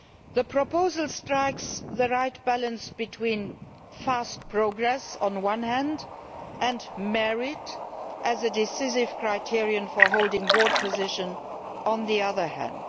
The proposal strikes the right balance between fast progress on the one hand and merit as a decisive criterion for holding board positions on the other hand.